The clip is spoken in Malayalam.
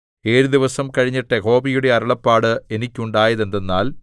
ഏഴു ദിവസം കഴിഞ്ഞിട്ട് യഹോവയുടെ അരുളപ്പാട് എനിക്കുണ്ടായതെന്തെന്നാൽ